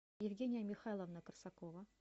евгения михайловна корсакова